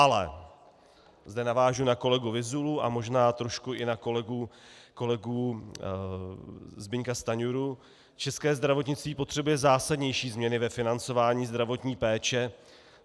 Ale, zde navážu na kolegu Vyzulu a možná trošku i na kolegu Zbyňka Stanjuru, české zdravotnictví potřebuje zásadnější změny ve financování zdravotní péče.